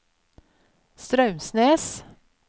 Straumsnes